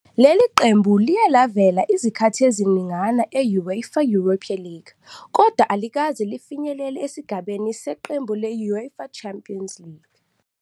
Leli qembu liye lavela izikhathi eziningana e-I-UEFA Europa League, kodwa alikaze lifinyelele esigabeni seqembu le-I-UEFA Champions League.